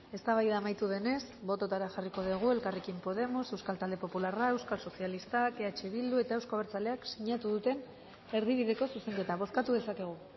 eztabaida amaitu denez bototara jarriko dugu elkarrekin podemos euskal talde popularrak euskal sozialistak eh bildu eta euzko abertzaleak sinatu duten erdibideko zuzenketa bozkatu dezakegu